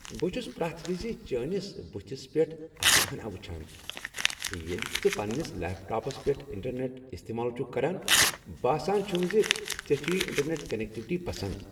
بہٕ چھس پرٛیتھ وِزِ چٲنس بٕتھس پیٹھ اسنہٕ ہنا وٕچھان ییٚلہ تہٕ ژٕ پننس لیپ ٹاپس پیٹھ انٹرنیٹ استعمال چھکھ کران۔ باسان چھم ز ژےٚ چھُے یہ انٹرنیٹ کنیکٹیویٹی پسند۔